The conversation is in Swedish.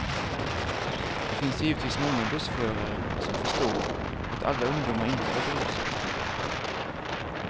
Det finns givetvis många bussförare som förstår att alla ungdomar inte är berusade.